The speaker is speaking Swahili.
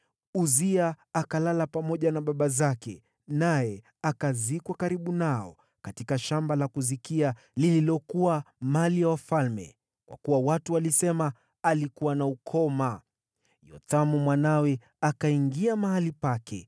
Uzia akalala pamoja na baba zake, naye akazikwa karibu nao katika shamba la kuzikia lililokuwa mali ya wafalme, kwa kuwa watu walisema, “Alikuwa na ukoma.” Yothamu mwanawe akawa mfalme baada yake.